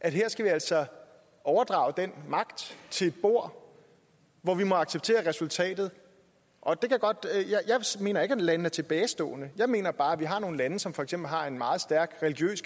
at her skal vi altså overdrage den magt til et bord hvor vi må acceptere resultatet og jeg mener ikke at landene er tilbagestående jeg mener bare at vi har nogle lande som for eksempel har en meget stærk